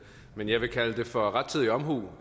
men jeg vil kalde det for rettidig omhu